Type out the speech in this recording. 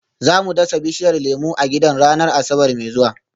Za mu dasa bishiyar lemu a gidan ranar Asabar mai zuwa